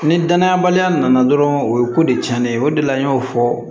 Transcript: Ni danayabaliya nana dɔrɔn o ye ko de cɛnnen ye o de la an y'o fɔ